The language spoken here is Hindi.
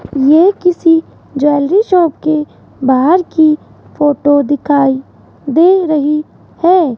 यह किसी ज्वेलरी शॉप के बाहर की फोटो दिखाई दे रही है।